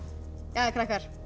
jæja krakkar